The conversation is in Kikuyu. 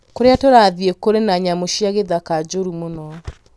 Kũrĩa tũrathiĩ kũrĩ na nyamũ cia gĩthaka njũru mũno